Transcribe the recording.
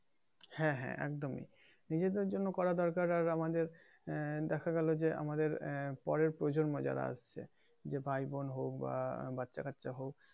হ্যাঁ হ্যাঁ একদমই নিজেদের জন্য করা দরকার আর আমাদের আহ দেখা গেলো যে আমাদের আহ পরের প্রজন্ম যারা আসছে যে ভাই বোন হোক বা বাচ্চা কাঁচ্চা হোক